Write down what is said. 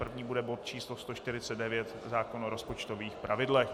První bude bod číslo 149 - zákon o rozpočtových pravidlech.